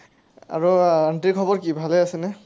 আৰু আণ্টিৰ খবৰ কি, ভালে আছেনে?